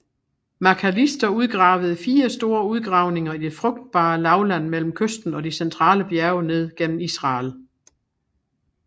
Macalister udgravede fire store udgravninger i det frugtbae lavland mellem kysten og de centrale bjerge ned gennem Israel